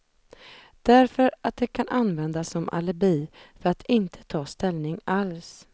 Därför att det kan användas som alibi, för att inte ta ställning alls.